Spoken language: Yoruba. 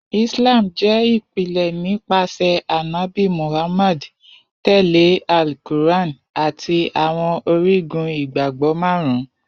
Islam jẹ ipilẹ nipasẹ Anabi Muhammad, tẹle Al-Qur’an ati Awọn Origun Igbagbọ Marun.